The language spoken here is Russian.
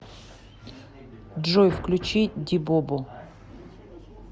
джой включи ди бобо